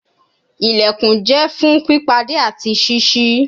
Ilẹkùn jẹ fun pipade ati ṣiṣi